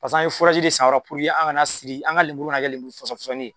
Paseke an ye de sen a yɔrɔ la, an ka na siri , an ka lenburu ka na kɛ lenburu fɔsɔn fɔsɔnnin ye.